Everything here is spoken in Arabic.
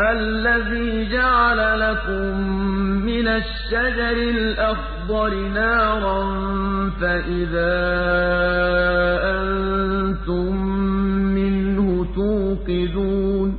الَّذِي جَعَلَ لَكُم مِّنَ الشَّجَرِ الْأَخْضَرِ نَارًا فَإِذَا أَنتُم مِّنْهُ تُوقِدُونَ